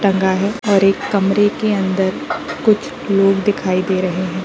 टंगा है और एक कमरे के अंदर कुछ लोग दिखाई दे रहे हैं।